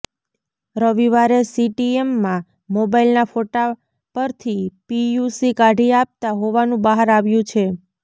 રવિવારે સીટીએમમાં મોબાઇલના ફોટા પરથી પીયુસી કાઢી આપતા હોવાનું બહાર આવ્યું છે